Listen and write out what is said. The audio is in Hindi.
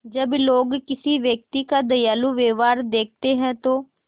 जब लोग किसी व्यक्ति का दयालु व्यवहार देखते हैं तो